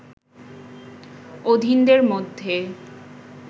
অধীনদের মধ্যে